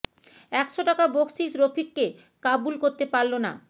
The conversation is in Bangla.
একশ টাকা বকশিশ রফিককে কাবু করতে পারল না